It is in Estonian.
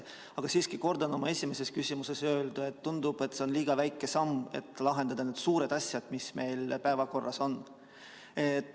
Aga siiski kordan oma esimeses küsimuses öeldut, et tundub, et see on liiga väike samm, et lahendada need suured probleemid, mis meil päevakorras on.